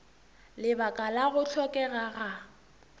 lebaka la go hlokega ga